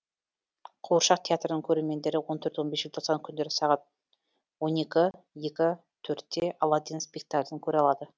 қуыршақ театрының көрермендері он төрт он бес желтоқсан күндері сағат он екі екі төртте аладдин спектаклін көре алады